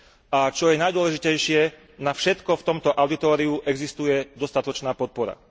A čo je najdôležitejšie, na všetko v tomto auditóriu existuje dostatočná podpora.